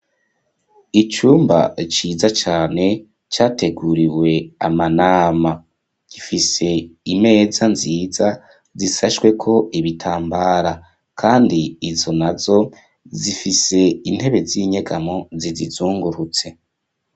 Icumba ciza cane categuriwe amanama. Gifise imeza nziza zisashweko ibitambara kandi izo nazo zifise intebe z'inyegamo zizizungurutse.